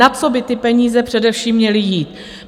Na co by ty peníze především měly jít?